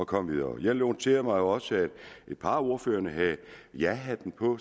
komme videre jeg noterede mig også at et par af ordførerne havde jahatten på